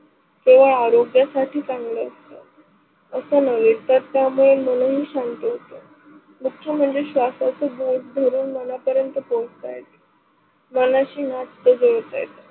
तो आरोग्य साठी चांगल, असं नवेत तर त्यामुळे मनही शांत होत असल्या मुख्य म्हणजे श्वासच घर धरून मनापर्यंत पोहोचता येत मनाची नात जोडता येते.